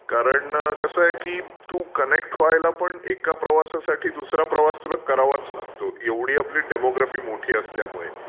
कारण कसं आहे की तू कनेक्ट व्हायला पण एका प्रवासासाठी दूसरा प्रवास करावाच लागतो. एवढी आपली डेमोग्राफी मोठी असल्यामुळे.